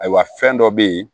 Ayiwa fɛn dɔ bɛ ye